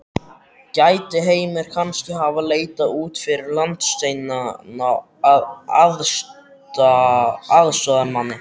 Gæti Heimir kannski hafa leitað út fyrir landsteinana að aðstoðarmanni?